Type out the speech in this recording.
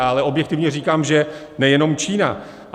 Ale objektivně říkám, že nejenom Čína.